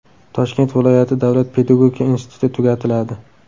Toshkent viloyati davlat pedagogika instituti tugatiladi.